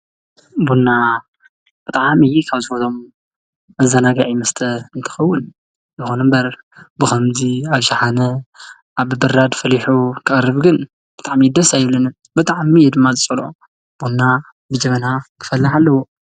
ቡና ብጣዕሚ ካብ ዝፈትዎም መዘናግዒ መስተ እንትኸውን ይኹን እምበር ብኸምዚ ኣብ ሸሓነ ኣብ ብብራድ ፈሊሑ ክቐርብ ግን ብጣዕሚ ደስ ኣይብለንን ብጣዕሚ እየ ድማ ዝፀልኦ። ቡና ብጀበና ክፈልሕ ኣለዎ፡፡